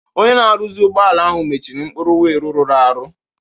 Onye na-arụzi ụgbọala ahụ mechiri mkpụrụ wheel rụrụ arụ.